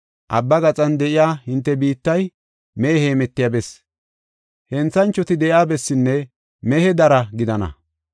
Abbaa gaxan de7iya hinte biittay mehe heemetiya bessi, henthanchoti de7iya bessinne mehe dara gidana.